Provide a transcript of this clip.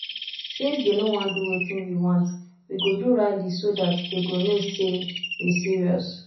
since dey no wan do wetin we want we go do rally so dat dey go know say we serious